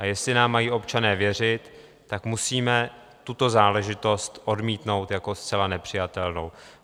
A jestli nám mají občané věřit, tak musíme tuto záležitost odmítnout jako zcela nepřijatelnou.